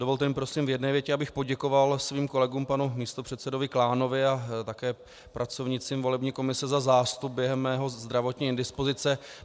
Dovolte mi prosím v jedné větě, abych poděkoval svým kolegům, panu místopředsedovi Klánovi a také pracovnicím volební komise, za zástup během mé zdravotní indispozice.